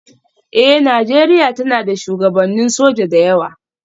Eh, Nijeriya tana da shugabannin sojoji da yawa.